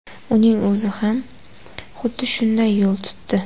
Uning o‘zi ham xuddi shunday yo‘l tutdi .